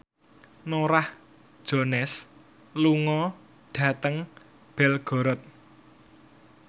Norah Jones lunga dhateng Belgorod